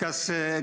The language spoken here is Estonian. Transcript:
Aa!